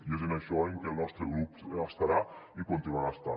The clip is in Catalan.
i és en això en què el nostre grup estarà i continuarà estant